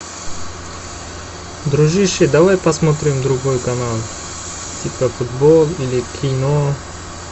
дружище давай посмотрим другой канал типа футбол или кино